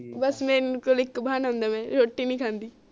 ਬਸ ਮੇਰੇ ਕੋਲ ਇਕ ਬਹਾਨਾ ਹੁੰਦਾ ਰੋਟੀ ਨੀ ਖਾਂਦੀ